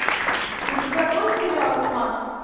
у тебя будет сериал тьма